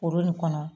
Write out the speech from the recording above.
Foro nin kɔnɔ